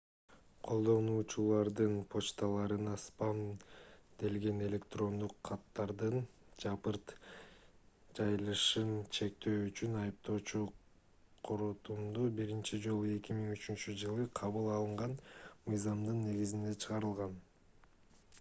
колдонуучулардын почталарына спам делген электрондук каттардын жапырт жайылышын чектөө үчүн айыптоочу корутунду биринчи жолу 2003-жылы кабыл алынган мыйзамдын негизинде чыгарылган